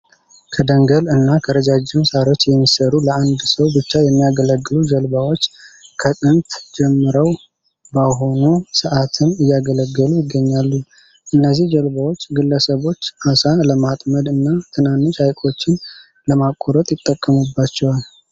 ከደንገል እና ከረጃጅም ሳሮች የሚሰሩ ለአንድ ሰው ብቻ የሚያገለግሉ ጀልባዎች ከጥንት ጀምረው ባሁኑ ሰአትም እያገለገሉ ይገኛሉ። እነዚ ጀልባዎች ግለሰቦች አሳ ለማጥመድ እና ትናንሽ ሀይቆችን ለማቋረጥ ይጠቀሙባቸዋል።